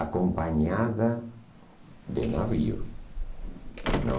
acompanhada de navio. Não